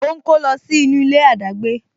O ń kó lọ sí inú ilé adagbe